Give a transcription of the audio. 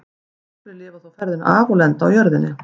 Nokkrir lifa þó ferðina af og lenda á jörðinni.